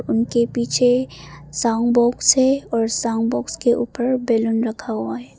इनके पीछे sound box हैं और साउंड बॉक्स के ऊपर बैलून रखा गया है।